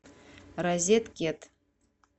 розеткед